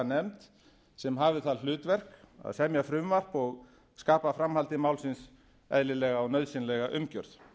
nefnd sm hafi það hlutverk að semja frumvarp og skapa framhaldi málsins eðlilega og nauðsynlega umgjörð